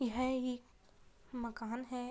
यह एक माकन है।